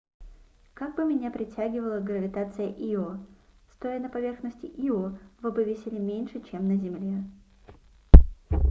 как бы меня притягивала гравитация ио стоя на поверхности ио вы бы весили меньше чем на земле